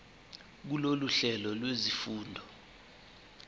kulolu hlelo lwezifundo